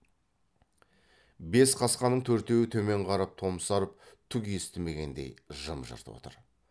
бес қасқаның төртеуі төмен қарап томсарып түк естімегендей жым жырт отыр